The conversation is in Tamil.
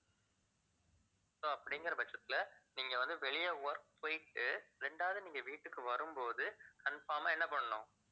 so அப்படிங்கிற பட்சத்துல நீங்க வந்து வெளிய work போயிட்டு இரண்டாவது நீங்க வீட்டுக்கு வரும்போது confirm ஆ என்ன பண்ணணும்